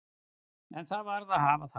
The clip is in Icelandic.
En það varð að hafa það.